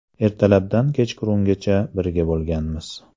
Ertalabdan kechgacha birga bo‘lganmiz.